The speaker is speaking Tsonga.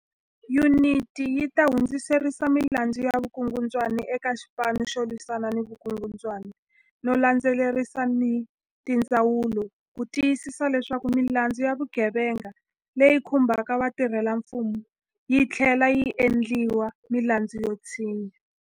Yuniti yi ta hundzisela milandzu ya vukungundwani eka Xipanu xo Lwisana ni Vukungundwani no landze lerisa ni tindzawulo ku ti yisisa leswaku milandzu ya vugevenga leyi khumbaka vatirhelamfumo yi tlhlela yi endliwa milandzu yo tshinya.